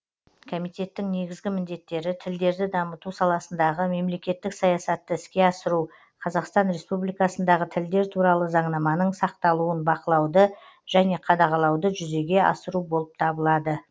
комитеттің негізгі міндеттері тілдерді дамыту саласындағы мемлекеттік саясатты іске асыру қазақстан республикасындағы тілдер туралы заңнаманың сақталуын бақылауды және қадағалауды жүзеге асыру болып табылады